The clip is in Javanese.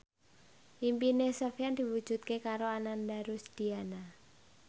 impine Sofyan diwujudke karo Ananda Rusdiana